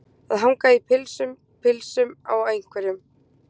Að hanga í pilsum pilsunum á einhverjum